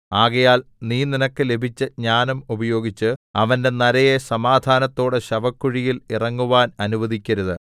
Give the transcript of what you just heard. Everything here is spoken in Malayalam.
ആകയാൽ നീ നിനക്ക് ലഭിച്ച ജ്ഞാനം ഉപയോഗിച്ച് അവന്റെ നരയെ സമാധാനത്തോടെ ശവക്കുഴിയിൽ ഇറങ്ങുവാൻ അനുവദിക്കരുത്